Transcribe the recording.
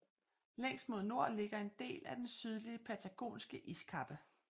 Længst mod nord ligger en del af den Sydlige Patagonske Iskappe